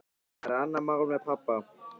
Það er annað mál með pabba.